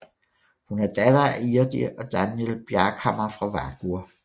Hun er datter af Irdi og Danjal Bjarkhamar fra Vágur